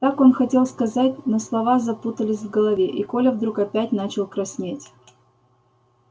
так он хотел сказать но слова запутались в голове и коля вдруг опять начал краснеть